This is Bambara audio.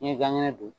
N'i ye gan kɛnɛ dun